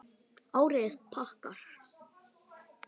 Árið er pakkað, vægast sagt.